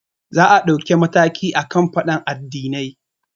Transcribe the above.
Za a ɗauki mataki akan faɗan addinai